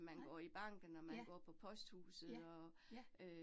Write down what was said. Nej. Ja, ja, ja